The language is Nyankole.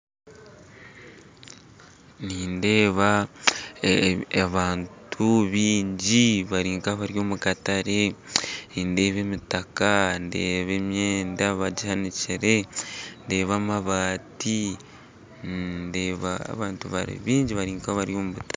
Nindeeba abantu baingi bari nkabari omukatare nindeeba emitaka ndeeba emyenda bagihanikire ndeeba amabaati ndeeba abantu bari baingi bari nkabari omukatare